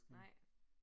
Nej